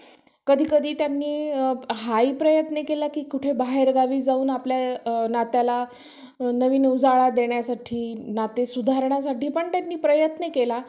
कधी कधी त्यांनी हा ही प्रयत्न केला की कुठे बाहेर गावी जाऊन आपल्या नात्याला नवीन उजाळा देण्यासाठी नाते सुधारण्यासाठी पण त्यांनी प्रयत्न केला.